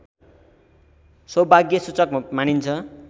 सौभाग्यसूचक मानिन्छ